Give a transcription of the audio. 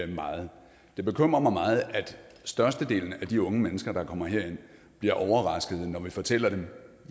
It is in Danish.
meget det bekymrer mig meget at størstedelen af de unge mennesker der kommer herind bliver overraskede når vi fortæller dem